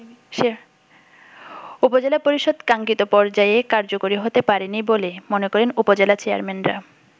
উপজেলা পরিষদ কাঙ্খিত পর্যায়ে কার্যকরী হতে পারেনি বলে মনে করেন উপজেলা চেয়ারম্যানরা।